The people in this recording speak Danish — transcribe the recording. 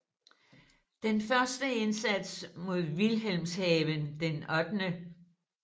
Den første indsats mod Wilhelmshaven den 8